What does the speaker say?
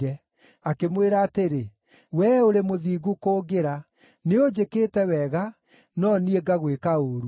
Akĩmwĩra atĩrĩ, “Wee ũrĩ mũthingu kũngĩra. Nĩũnjĩkĩte wega, no niĩ ngagwĩka ũũru.